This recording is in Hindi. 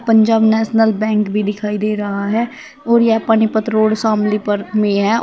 पंजाब नेशनल बैंक भी दिखाई दे रहा है और यह पानीपत रोड शामली पर में है औ--